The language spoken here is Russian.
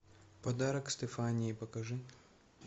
подарок стефании покажи